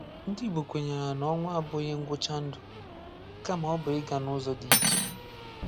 Ndị̀ Igbò kwènyèrè nà ọnwụ̀ abù̀ghị̀ ngwụ̀chà ndù, kamà ọ̀ bụ̀ ị̀gà n’ụ̀zọ̀ dị̀ ichè